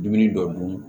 Dumuni dɔ dun